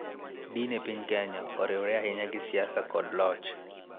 Din e piny Kenya oriwre ahinya gi siasa kod loch.